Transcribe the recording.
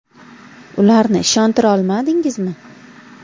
Ularni ishontira olmadingizmi?